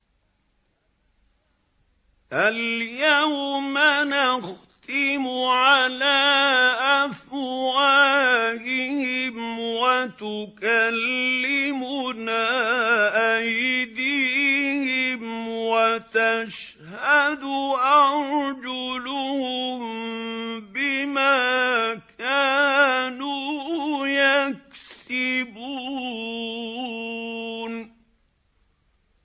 الْيَوْمَ نَخْتِمُ عَلَىٰ أَفْوَاهِهِمْ وَتُكَلِّمُنَا أَيْدِيهِمْ وَتَشْهَدُ أَرْجُلُهُم بِمَا كَانُوا يَكْسِبُونَ